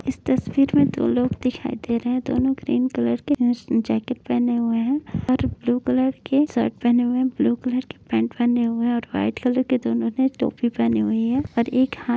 इस तस्वीर में दो लोग दिखाई दे रहे हैं दोनों ग्रीन कलर की न्स् जैकेट पेहने हुए हैं और ब्लू कलर की शर्ट पहने हुए हैं ब्लू कलर की पैंट पहने हुए हैं और वाइट कलर की दोनों ने टोपी पहनी हुई है और एक हां --